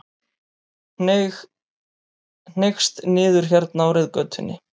Hneigst niður hérna á reiðgötunni.